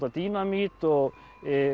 dínamít og